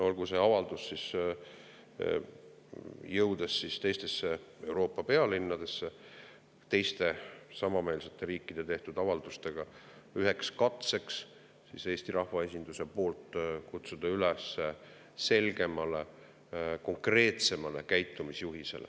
Olgu see avaldus, kui ta jõuab teistesse Euroopa pealinnadesse, koos teiste samameelsete riikide tehtud avaldustega üheks katseks Eesti rahvaesinduse poolt kutsuda üles selgemale, konkreetsemale käitumisjuhisele.